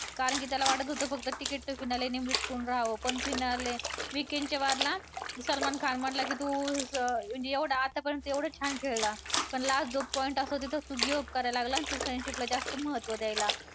कारण की त्याला वाटत होतं फक्त ticket to finale Nimrit Kaur राहावं पण finale weekend चा war ला सलमान खान म्हंटला की तू एवढं आतापर्यंत एवढं छान खेळला पण last जो point असतो तिथंच तो give up करायला लागला आणि तू friendship ला जास्त महत्व द्यायला.